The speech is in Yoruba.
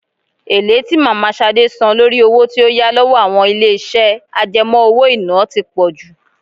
Èlé tí mama Ṣadé san lórí owó tí ó yá lọ́wọ́ àwọn ilé iṣẹ́ àjẹmó-owó-iná tí pọ jù.